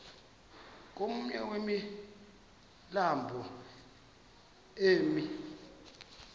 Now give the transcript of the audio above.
komnye wemilambo emi